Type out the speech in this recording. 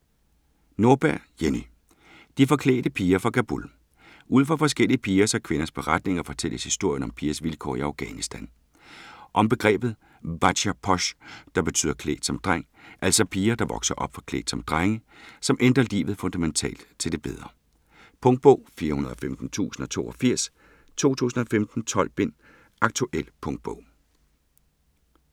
Nordberg, Jenny: De forklædte piger fra Kabul Ud fra forskellige pigers og kvinders beretninger, fortælles historien om pigers vilkår i Afghanistan. Om begrebet "bacha posh", der betyder "klædt som dreng", altså piger, der vokser op forklædt som drenge, som ændrer livet fundamentalt til det bedre. Punktbog 415082 2015. 12 bind. Aktuel punktbog